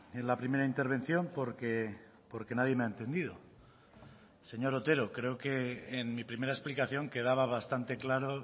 en la primera intervención porque porque nadie me ha entendido señor otero creo que en mi primera explicación quedaba bastante claro